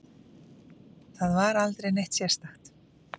Það var aldrei neitt sérstakt.